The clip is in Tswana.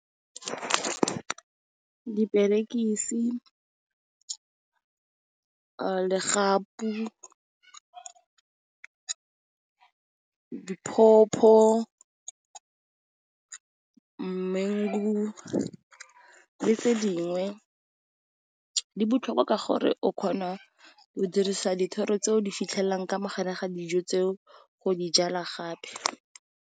Diperekisi, legapu, di pawpaw, mengu, le tse dingwe. Di botlhokwa ka gore o kgona o dirisa dithoro tseo di fitlhelelang ka mogare ga dijo tseo go dijalwa gape.